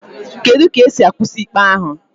Kedu ka esi akwụsị ikpe ahụ